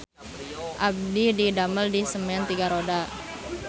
Abdi didamel di Semen Tiga Roda